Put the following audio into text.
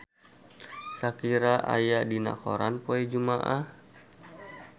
Shakira aya dina koran poe Jumaah